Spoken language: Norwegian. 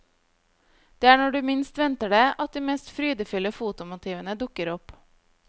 Det er når du minst venter det, at de mest frydefulle fotomotivene dukker opp.